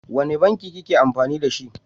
Wane banki kake amfani dashi?